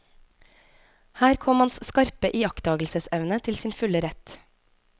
Her kom hans skarpe iakttagelsesevne til sin fulle rett.